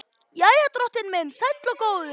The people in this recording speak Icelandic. Jæja, drottinn minn sæll og góður.